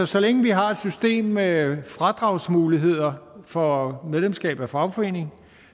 så længe vi har et system med fradragsmuligheder for medlemskab af fagforeninger